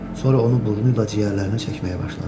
Sonra onu burnu ilə ciyərlərinə çəkməyə başladı.